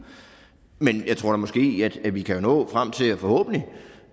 men jeg tror måske at vi kan nå frem til forhåbentlig